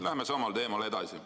Läheme samal teemal edasi.